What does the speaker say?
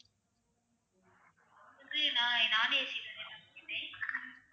நான் non AC தான ma'am கேட்டேன்